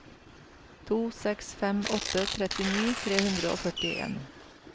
to seks fem åtte trettini tre hundre og førtien